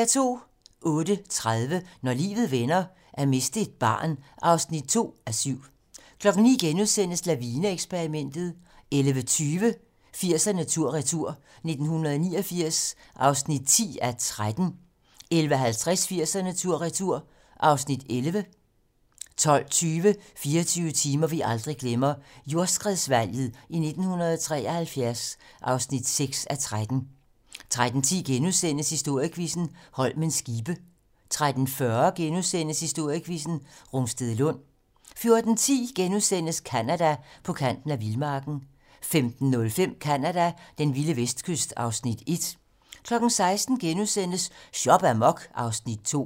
08:30: Når livet vender: At miste et barn (2:7) 09:00: Lavine-eksperimentet * 11:20: 80'erne tur-retur: 1989 (10:13) 11:50: 80'erne tur/retur (Afs. 11) 12:20: 24 timer, vi aldrig glemmer - Jordskredsvalget i 1973 (6:13) 13:10: Historiequizzen: Holmens skibe * 13:40: Historiequizzen: Rungstedlund * 14:10: Canada: På kanten af vildmarken * 15:05: Canada: Den vilde vestkyst (Afs. 1) 16:00: Shop amok (Afs. 2)*